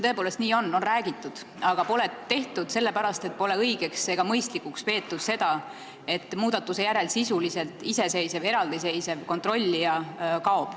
Tõepoolest nii on, on räägitud, aga seda pole tehtud, sest pole õigeks ega mõistlikuks peetud, et muudatuse järel kaob sisuliselt iseseisev, eraldiseisev kontrollija.